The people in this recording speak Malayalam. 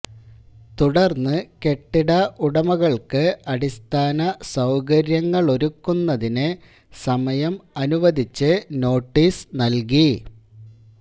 തുടര്ന്ന് കെട്ടിട ഉടമകള്ക്ക് അടിസ്ഥാന സൌകര്യങ്ങളൊരുക്കുന്നതിന്ന് സമയം അനുവദിച്ച് നോട്ടീസ് നല്കി